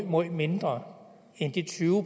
møj mindre end de tyve